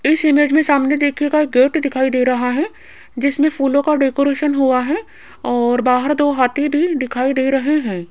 इस इमेज में सामने देखिएगा एक गेट दिखाई दे रहा है जिसमें फूलों का डेकोरेशन हुआ है और बाहर दो हाथी भी दिखाई दे रहे हैं।